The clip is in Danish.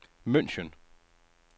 München